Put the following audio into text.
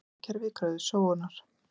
slík peningakerfi kröfðust sóunar